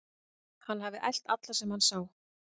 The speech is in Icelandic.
Hann hafi elt alla sem hann sá.